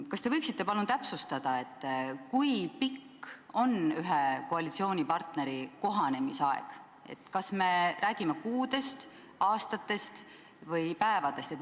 Kas te võiksite palun täpsustada, kui pikk on ühe koalitsioonipartneri kohanemisaeg, kas me räägime kuudest, aastatest või päevadest?